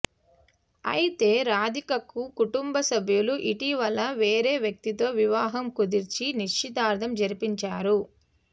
అయితే రాధికకు కుటుంబసభ్యులు ఇటీవల వేరే వ్యక్తితో వివాహం కుదిర్చి నిశ్చితార్థం జరిపించారు